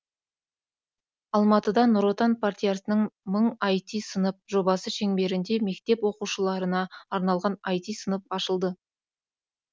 алматыда нұр отан партиясының мың айти сынып жобасы шеңберінде мектеп оқушыларына арналған айти сынып ашылды